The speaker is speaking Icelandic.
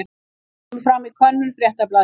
Þetta kemur fram í könnun Fréttablaðsins